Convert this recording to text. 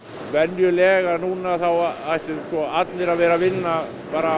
venjulega núna þá ættu allir að vera að vinna